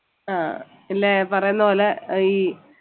ആഹ് അല്ല ഞാൻ പറയുന്ന പോലെ ഈ